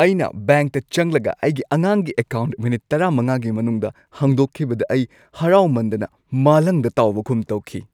ꯑꯩꯅ ꯕꯦꯡꯛꯇ ꯆꯪꯂꯒ, ꯑꯩꯒꯤ ꯑꯉꯥꯡꯒꯤ ꯑꯦꯀꯥꯎꯟꯠ ꯃꯤꯅꯤꯠ ꯱꯵ꯒꯤ ꯃꯅꯨꯡꯗ ꯍꯥꯡꯗꯣꯛꯈꯤꯕꯗ ꯑꯩ ꯍꯔꯥꯎꯃꯟꯗꯅ ꯃꯥꯂꯪꯗ ꯇꯥꯎꯕꯒꯨꯝ ꯇꯧꯈꯤ꯫